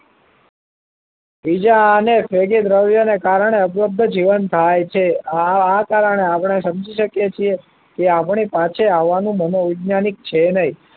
બીજા અનેક ફ્રેગીત દ્રવ્યને કારણે અબ્લોક જીવન થાય છે આ કારણે આપણે સમજી શકીએ છીએ કે આપણી પાસે આવવાનું મનોવૈજ્ઞાનિક છે નહિ